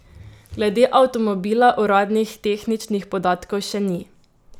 Glede avtomobila uradnih tehničnih podatkov še ni.